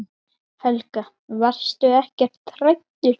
Helga: Varstu ekkert hræddur?